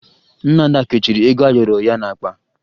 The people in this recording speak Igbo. Nne Ada kechiri ego ayọrọ ya n'akpa